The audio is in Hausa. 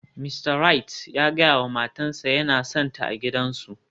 Mista Wright ya gaya wa matarsa ​​yana sonta a gidansu